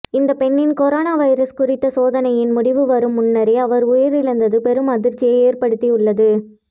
இந்த பெண்ணின் corona virus குறித்த சோதனையின் முடிவு வரும் முன்னரே அவர் உயிரிழந்தது பெரும் அதிர்ச்சியை ஏற்படுத்தி உள்ளது